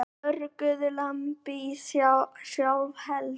Björguðu lambi úr sjálfheldu